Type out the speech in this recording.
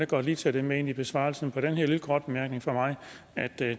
godt lige tage det med ind i besvarelsen på den her lille korte bemærkning fra mig at det